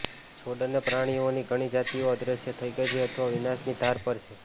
છોડ અને પ્રાણીઓની ઘણી જાતિઓ અદ્રશ્ય થઈ ગઈ છે અથવા વિનાશની ધાર પર છે